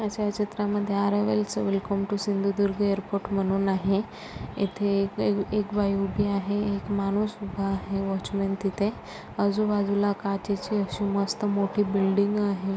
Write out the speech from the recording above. या छायाचित्रा मधे अरायवल च welcome to Sindhudurg airport म्हणून आहे इथे एक बाई उभी आहे एक माणूस उभा आहे वॉचमन तिथे आजू बाजूला काचेची अशी मस्त मोठी बिल्डिंग आहे.